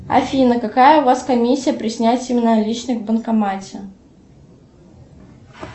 афина какая у вас комиссия при снятии наличных в банкомате